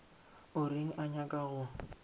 o reng o nyaka go